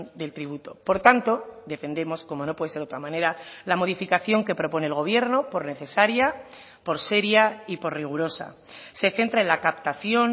del tributo por tanto defendemos como no puede ser otra manera la modificación que propone el gobierno por necesaria por seria y por rigurosa se centra en la captación